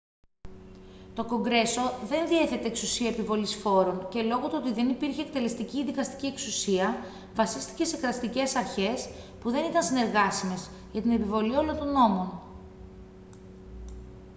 to κογκρέσο δεν διέθετε εξουσία επιβολής φόρων και λόγω του ότι δεν υπήρχε εκτελεστική ή δικαστική εξουσία βασίστηκε σε κρατικές αρχές που δεν ήταν συνεργάσιμες για την επιβολή όλων των νόμων